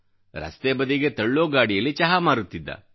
ರಸ್ತೆ ಬದಿಗೆ ತಳ್ಳೋ ಗಾಡಿಯಲ್ಲಿ ಚಹಾ ಮಾರುತ್ತಿದ್ದ